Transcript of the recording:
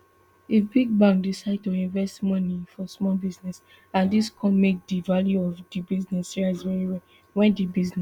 if big bank decide to invest moni for small business and dis come make di value of di business rise veri high wen di business